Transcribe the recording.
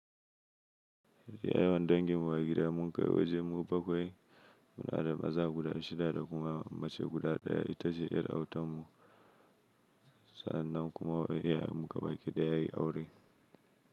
Yawan danginmu a gida mun kai wajen mu bakwai, muna da maza guda shida da kuma mace guda ɗaya ita ce ƴar autan mu sanna kuma wani yayyan mu gaba ki daya ya yi aure.